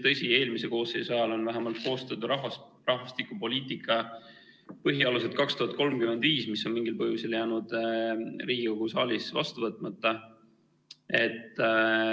Tõsi, eelmise koosseisu ajal vähemalt koostati "Rahvastikupoliitika põhialused 2035", mis mingil põhjusel jäi Riigikogu saalis vastu võtmata.